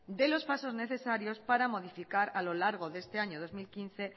dé los pasos necesarios para modificar a lo largo de este año dos mil quince